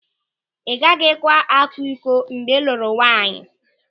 Ị gaghịkwa akwa ịkọ mgbe ị lụrụ nwaanyị.